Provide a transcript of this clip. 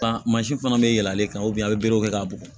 mansin fana bɛ yɛlɛn ale kan a bɛ berew kɛ k'a bugɔ